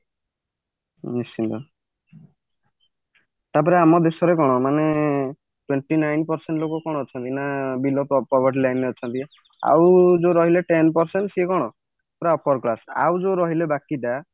ନିସ୍ତିନ୍ତ ତାପରେ ଆମ ଦେଶରେ କଣ twenty nine percent ଲୋକ କଣ ଅଛନ୍ତି ନା ବିଲ property line ରେ ଅଛନ୍ତି ଆଉ ଯୋଉ ରହିଲେ ten percent ସିଏ କଣ ପୁରା upper class ଆଉ ଯୋଉ ରହିଲେ ବାକି ଟା